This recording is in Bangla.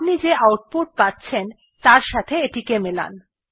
আপনি যে আউটপুট পাচ্ছেন তার সাথে এটিকে মেলান